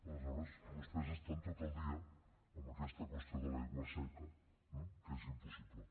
aleshores vostès estan tot el dia amb aquesta qüestió de l’aigua seca no que és impossible